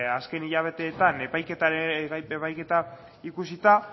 azken hilabeteetan epaiketa ikusita